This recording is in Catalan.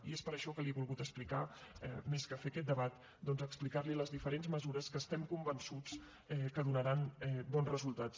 i és per això que li he volgut explicar més que fer aquest debat doncs les diferents mesures que estem convençuts que donaran bons resultats